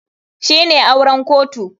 Shine auren kotu.